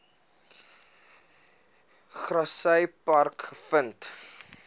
grassy park gevind